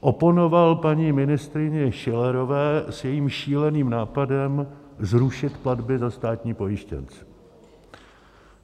oponoval paní ministryni Schillerové s jejím šíleným nápadem zrušit platby za státní pojištěnce.